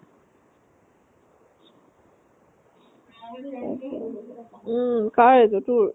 উম । কাৰ এইতো ? তোৰ ?